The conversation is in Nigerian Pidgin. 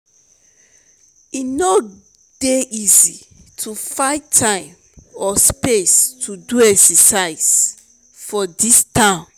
e no dey easy to find time or space to do exercise for dis town.